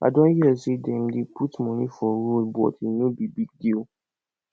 i don hear say dem dey put money for road but e no be big deal